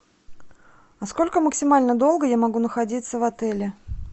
а сколько максимально долго я могу находиться в отеле